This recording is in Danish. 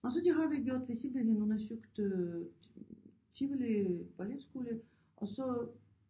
Og så det har vi gjort vi simpelthen undersøgte øh Tivoli Balletskole og så